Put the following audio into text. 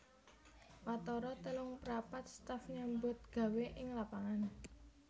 Watara telungprapat staf nyambutgawé ing lapangan